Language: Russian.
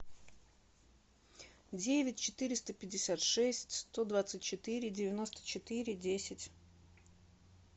девять четыреста пятьдесят шесть сто двадцать четыре девяносто четыре десять